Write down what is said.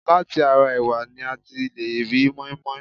Láti ara ẹ̀wà ni a ti lè ri mọ́inmọ́in